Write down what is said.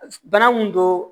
Bana mun don